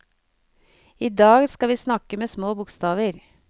Idag skal vi snakke med små bokstaver.